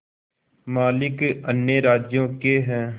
मालिक अन्य राज्यों के हैं